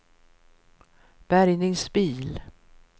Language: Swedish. bärgningsbil